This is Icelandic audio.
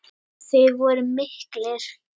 Þeir voru miklir.